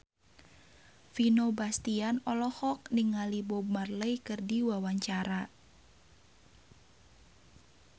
Vino Bastian olohok ningali Bob Marley keur diwawancara